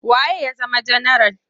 Wa ye ya zama janaral?